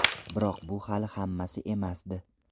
Biroq bu hali hammasi emasdi.